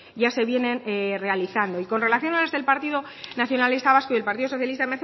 ya se vienen realizando y con relación a las del partido nacionalista vasco y el partido socialista